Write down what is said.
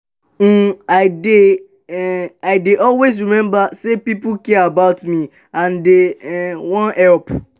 um i dey um i dey always rememba sey pipo care about me and dey um wan help.